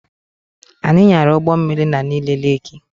Anyị nyara ụgbọ mmiri na Nike Leeki